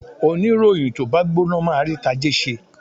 Oníròyìn tó bá gbóná máa rí tajé ṣe.